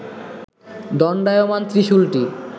দণ্ডায়মান ত্রিশুলটি